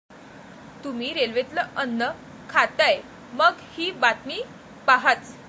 तुम्ही रेल्वेतलं अन्न खाताय, मग ही बातमी पाहाच!